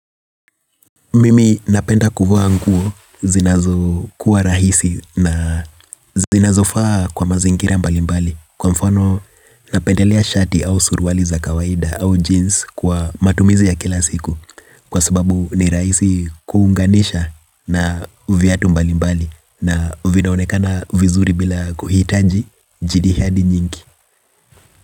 Mimi napenda kuvaa nguo zinazo kuwa rahisi na zinazofaa kwa mazingira mbali mbali. Kwa mfano napendelea shati au suruali za kawaida au jeans kwa matumizi ya kila siku. Kwa sababu ni rahisi kuunganisha na viatu mbali mbali na vinaonekana vizuri bila kuhitaji jidi hadi nyingi.